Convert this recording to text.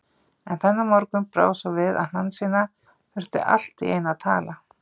En þennan morgun brá svo við að Hansína þurfti allt í einu að tala.